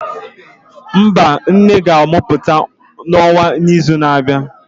mba, nne ga-amụpụta Nwa n'izu na-abịa.